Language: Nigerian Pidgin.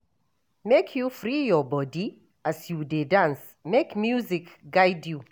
Make you free your bodi as you dey dance, make music guide you.